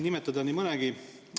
Nimetada võiks nii mõnegi veel.